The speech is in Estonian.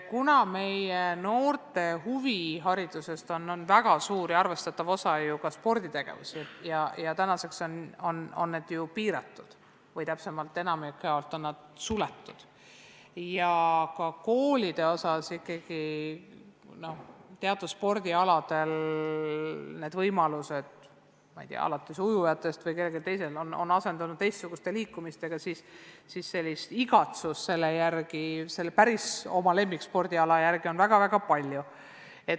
Kuna meie noorte huvihariduses on väga suur osa sporditegevusel ja praegu on sellega tegelemine ju piiratud või täpsemalt öeldes on spordikoolid enamjaolt suletud ning teatud spordialadel, näiteks ujumises, on senised võimalused asendunud teistsuguste liikumisviisidega, siis igatsust selle päris oma lemmikspordiala järele on väga-väga palju.